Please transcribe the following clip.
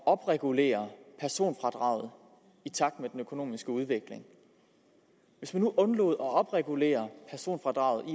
opregulere personfradraget i takt med den økonomiske udvikling hvis man nu undlod at opregulere personfradraget i